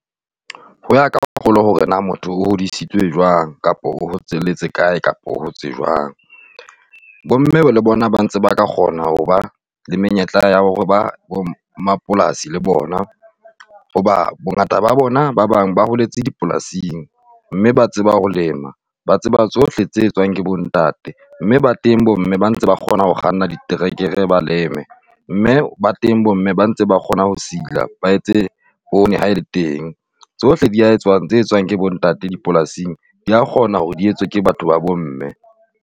Ho ya ka kgolo hore na motho o hodisitswe jwang kapa o hotselletse kae kapa o hotse jwang. Bomme le bona ba ntse ba ka kgona ho ba le menyetla ya hore ba bo mmapolasi le bona, hoba bongata ba bona ba bang ba holetse dipolasing. Mme ba tseba ho lema. Ba tseba tsohle tse etswang ke bontate. Mme ba teng bomme ba ntse ba kgona ho kganna diterekere ba leme, mme ba teng bomme ba ntseng ba kgona ho sila ba etse poone ha ele teng. Tsohle dia etswang tse etswang ke bontate dipolasing dia kgona hore di etswe ke batho ba bomme.